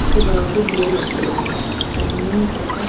सजावटे भी लटक रही है सामने एक--